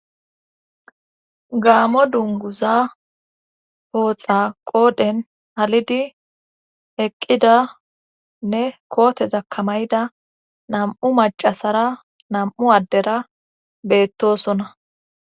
gaamo dunguza pooxa qoodhen halidi eqqidanne koote zakkamayda nam7u macasara nam7u addera beettosona